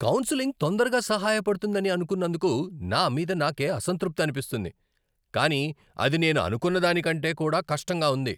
Counselling తొందరగా సహాయపడుతుందని అనుకున్నందుకు నా మీద నాకే అసంతృప్తి అనిపిస్తుంది, కానీ అది నేను అనుకున్న దాని కంటే కూడా కష్టంగా ఉంది.